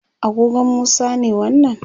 agogon Musa ne wannan